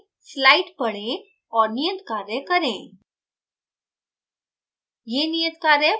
video रोकें slide पढें और नियत कार्य करें